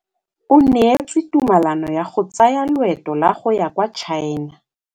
O neetswe tumalanô ya go tsaya loetô la go ya kwa China.